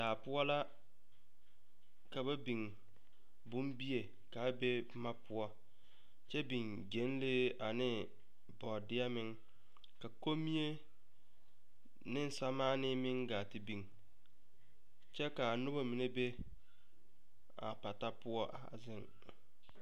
Daa poɔ la ka ba biŋ bombie ka a be bonne poɔ kyɛ biŋ gyɛnlee ane bɔɔdeɛ meŋ a kommie ne samaane meŋ gaa te biŋ kyɛ ka a noba mine be a pata poɔ a zeŋ.